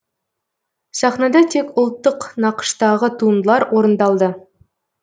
сахнада тек ұлттық нақыштағы туындылар орындалды